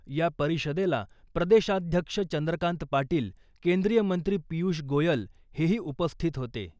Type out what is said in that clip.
या परिषदेला प्रदेशाध्यक्ष चंद्रकांत पाटील , केंद्रीय मंत्री पियुष गोयल हेही उपस्थित होते .